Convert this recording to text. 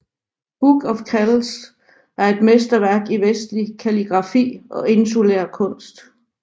Book of Kells er et mesterværk i vestlig kalligrafi og insulær kunst